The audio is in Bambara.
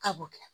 Ka b'o kɛ